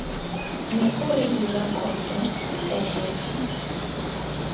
ne o re direkoto pehelo